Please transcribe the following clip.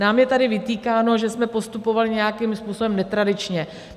Nám je tady vytýkáno, že jsme postupovali nějakým způsobem netradičně.